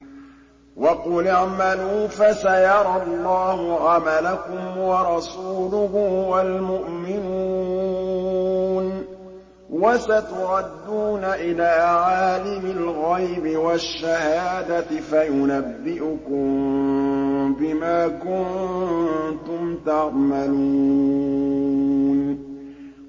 وَقُلِ اعْمَلُوا فَسَيَرَى اللَّهُ عَمَلَكُمْ وَرَسُولُهُ وَالْمُؤْمِنُونَ ۖ وَسَتُرَدُّونَ إِلَىٰ عَالِمِ الْغَيْبِ وَالشَّهَادَةِ فَيُنَبِّئُكُم بِمَا كُنتُمْ تَعْمَلُونَ